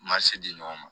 Ma se di ɲɔgɔn ma